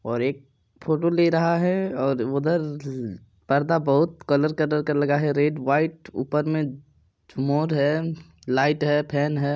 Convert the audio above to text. और एक फोटो ले रहा है और उधर पर्दा बहुत कलर कलर का लगा है रेड व्हाइट ऊपर मे मोर है लाइट है फेन है।